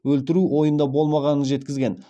өлтіру ойында болмағанан жеткізген